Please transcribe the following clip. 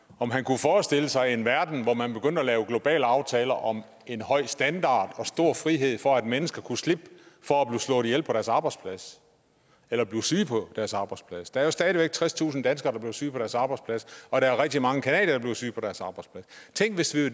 om han kunne forestille sig en verden hvor man begyndte at lave globale aftaler om en høj standard og stor frihed for at mennesker kunne slippe for at blive slået ihjel på deres arbejdsplads eller at blive syge på deres arbejdsplads der er jo stadig væk tredstusind danskere der bliver syge på deres arbejdsplads og der er rigtig mange canadiere der bliver syge på deres arbejdsplads tænk hvis det